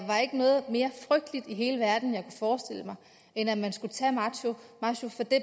mig noget mere frygteligt i hele verden end at man skulle tage masho fra det